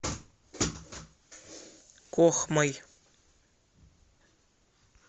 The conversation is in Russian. кохмой